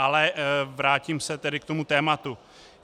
Ale vrátím se tedy k tomu tématu.